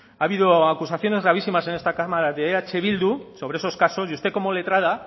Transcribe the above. ha habido acusaciones gravísimas en esta cámara de eh bildu sobre esos casos y usted como letrada